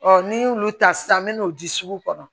n'i y'olu ta sisan n bɛ n'o di sugu kɔnɔ